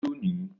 Mó tòògbé lọ ni